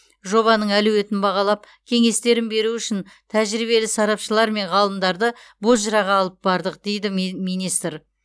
жобаның әлеуетін бағалап кеңестерін беру үшін тәжірибелі сарапшылар мен ғалымдарды бозжыраға алып бардық дейді ми министр